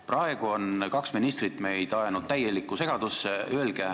Praegu on kaks ministrit ajanud meid täielikku segadusse.